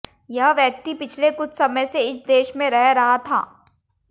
यह व्यक्ति पिछले कुछ समय से इस देश में रह रहा था